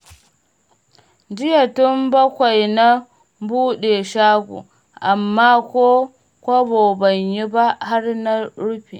Jiya tun bakwai na buɗe shago, amma ko kobo ban yi ba har na rufe.